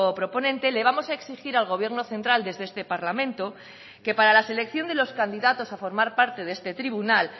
proponente le vamos a exigir al gobierno central desde este parlamento que para la selección de los candidatos a formar parte de este tribunal